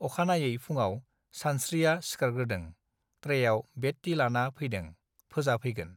अखानायै फुङाव सानस्त्रिआ सिखारग्रोदों ट्रेआव बेड टि लाना फैदों फोजा फैगोन